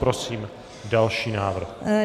Prosím další návrh.